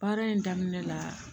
Baara in daminɛ la